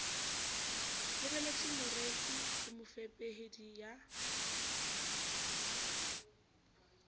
lebelletse moreki le mofepedi ya